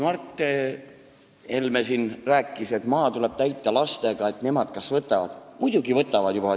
Mart Helme rääkis siin, et maa tuleb täita lastega, et nemad ehk võtavad – muidugi võtavad!